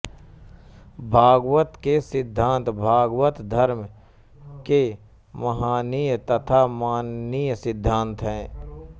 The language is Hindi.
भागवत के सिद्धांत भागवतधर्म के महनीय तथा माननीय सिद्धांत हैं